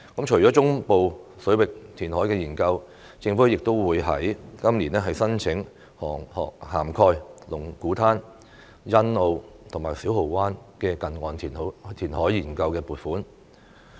除了中部水域填海研究，政府亦會在今年申請涵蓋龍鼓灘、欣澳及小蠔灣的近岸填海研究的撥款。